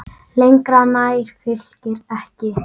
Lengra nær Fylkir ekki.